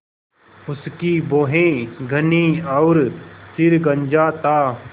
उसकी भौहें घनी और सिर गंजा था